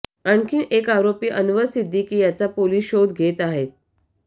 आणखी एक आरोपी अन्वर सिद्धीकी याचा पोलिस शोध घेत आहे